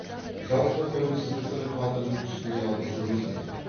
жалпы тәуелсіздіктің қадірін түсіне алып жүрміз бе